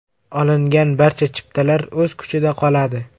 Olingan barcha chiptalar o‘z kuchida qoladi.